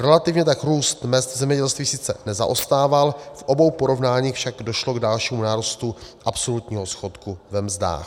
Relativně tak růst mezd v zemědělství sice nezaostával, v obou porovnáních však došlo k dalšímu nárůstu absolutního schodku ve mzdách.